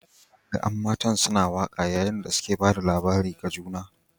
An gan an'matan suna waka yayin da suke ba da labarin ga juna.